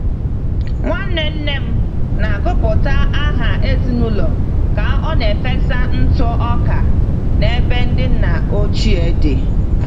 Nwanne nne m na-agụpụta aha ezinụlọ ka ọ na-efesa ntụ ọka n'ebe ndị nna ochie dị.